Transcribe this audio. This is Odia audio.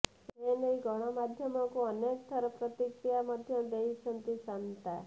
ସେନେଇ ଗଣାମଧ୍ୟମକୁ ଅନେକ ଥର ପ୍ରତିକ୍ରିୟା ମଧ୍ୟ ଦେଇଛନ୍ତି ଶାନ୍ତା